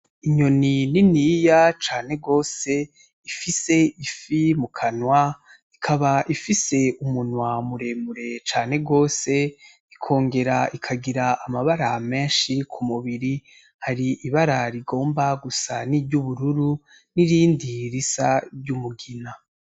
Inyoni niniya cane gose ifise ifi mu kanwa ikaba ifise umunwa muremure cane gose, ikongera ikagira amabara menshi ku mubiri , hari ibara rigomba gusa n’iry’ubururu , n’irindi risa niry’umugina.